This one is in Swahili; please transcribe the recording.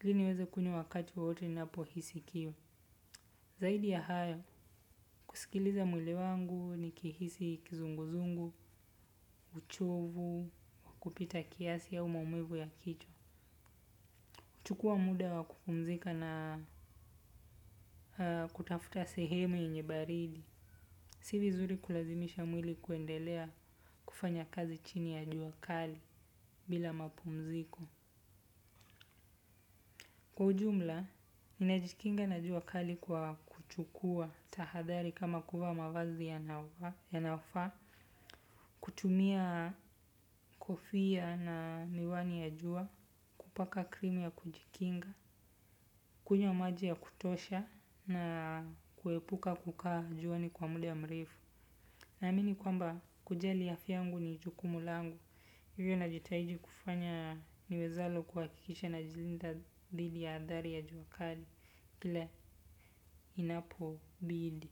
ili niweze kunywa wakati wowote ninapohisi kiu zaidi ya hayo, kusikiliza mwili wangu ni kihisi kizunguzungu, uchovu, wakupita kiasi ama maumivu ya kichwa chukua muda wa kupumzika na kutafuta sehemu yenye baridi. Si vizuri kulazimisha mwili kuendelea kufanya kazi chini ya juakali bila mapumziko. Kiujumla, ninajikinga na juakali kwa kuchukua tahadhali kama kuvaa mavazi ya nafaa. Kutumia kofia na miwani ya jua kupaka krimu ya kujikinga. Kunywa maji ya kutosha na kuepuka kukaa juani kwa muda mrefu. Naamini kwamba kujali afya yangu ni jukumu langu hivyo na jitahidi kufanya ni wezavyo kuha kikisha na jilinda dhidi ya athari ya juakali. Pale inapobidi.